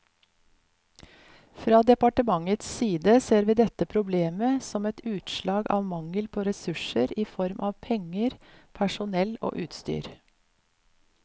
Fra departementets side ser vi dette problemet som et utslag av mangel på ressurser i form av penger, personell og utstyr.